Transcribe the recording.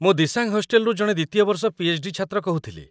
ମୁଁ ଦିସାଂ ହଷ୍ଟେଲରୁ ଜଣେ ୨ୟ ବର୍ଷ ପିଏଚ୍.ଡି. ଛାତ୍ର କହୁଥିଲି |